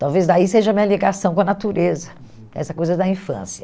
Talvez daí seja a minha ligação com a natureza, essa coisa da infância.